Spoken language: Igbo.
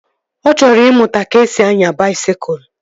Ọ chọrọ ịmụta ka-esi anya baisikụl